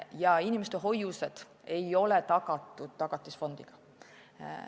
Ja inimeste hoiused Tagatisfondis tagatud ei ole.